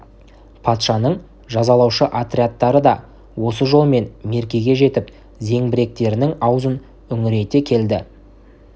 патшаның жазалаушы отрядтары да осы жолмен меркеге жетіп зеңбіректерінің аузын үңірейте келді